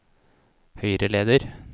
høyreleder